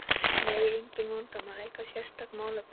Nei, engin vandamál Eitthvað sérstakt málefni?